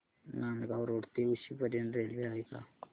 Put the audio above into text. Nandgaon road ते उक्षी पर्यंत railway आहे का